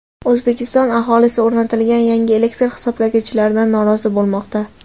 O‘zbekiston aholisi o‘rnatilgan yangi elektr hisoblagichlardan norozi bo‘lmoqda.